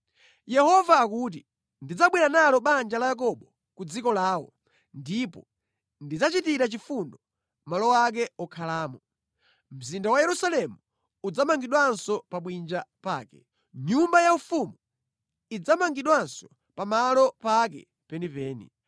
Yehova akuti, “Ndidzabwera nalo banja la Yakobo ku dziko lawo ndipo ndidzachitira chifundo malo ake okhalamo; mzinda wa Yerusalemu udzamangidwanso pa bwinja pake, nyumba yaufumu idzamangidwanso pa malo pake penipeni.